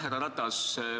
Härra Ratas!